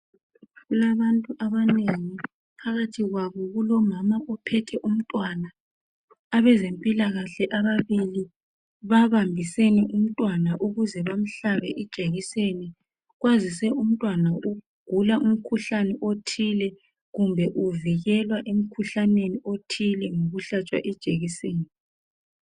Kulabantu abanengi. Phakathi kwabo kulomama ophethe umntwana. Abazempilakahle ababili babambisene umntwana ukuze bamhlabe ijekiseni. Kwazise umntwana ugula umkhuhlane othile kumbe uvikelwa emkhuhlaneni othile ngokuhlatshwa ijekiseni.